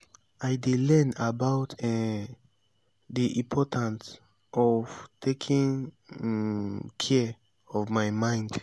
i dey learn about um di important of taking um care of my mind.